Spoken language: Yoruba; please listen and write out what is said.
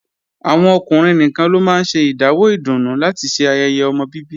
Àwọn ọkùnrin nìkan ló máa ń ṣe ìdáwó ìdùnnú láti ṣe ayẹyẹ ọmọ bíbí